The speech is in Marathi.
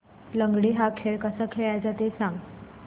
लंगडी हा खेळ कसा खेळाचा ते सांग